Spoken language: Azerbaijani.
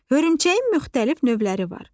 Hörümçəyin müxtəlif növləri var.